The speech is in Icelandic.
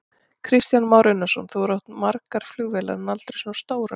Kristján Már Unnarsson: Þú hefur átt margar flugvélar, en aldrei svona stórar?